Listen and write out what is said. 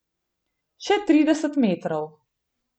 Še trideset metrov.